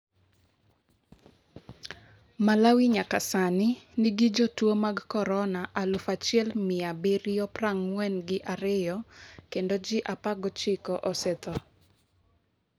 Malawi nyaka sani nigi jotuwo mag korona aluf achiel mia abirio prang'wen gi ariyo, kendo ji 19 osetho.